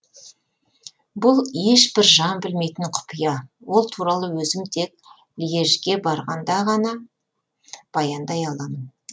бұл ешбір жан білмейтін құпия ол туралы өзім тек льежге барғанда ғана баяндай аламын